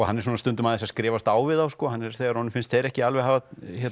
hann er svona stundum aðeins að skrifast á við þá þegar honum finnst þeir ekki alveg hafa